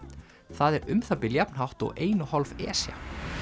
það er um það bil jafn hátt og ein og hálf Esja